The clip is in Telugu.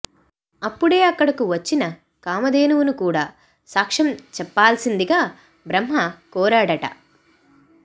అప్పుడే అక్కడకు వచ్చిన కామధేనువును కూడా సాక్ష్యం చెప్పాల్సిందిగా బ్రహ్మ కోరాడట